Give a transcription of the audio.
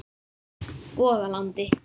Goðalandi